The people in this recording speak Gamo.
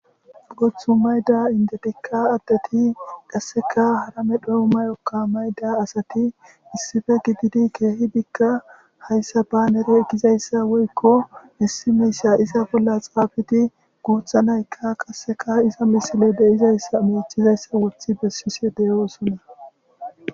Booththa mayida inddothikka addethi qassika hara medhokka mayokka mayida asathi issipe gididi keehidikka hayssa baanere gizayssa woykko issi miishsha iza bolla xaafidi guuththa naykka qassika iza misilee de7izayssanne miiccizayssa woththi bessishee de7oosona.